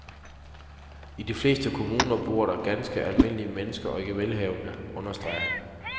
I de fleste kommuner bor der ganske almindelige mennesker og ikke velhavere, understreger han.